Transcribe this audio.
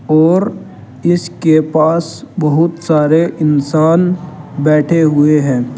और इसके पास बहुत सारे इंसान बैठे हुए हैं।